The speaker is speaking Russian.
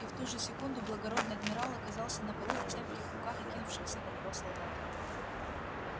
и в ту же секунду благородный адмирал оказался на полу в цепких руках накинувшихся на него солдат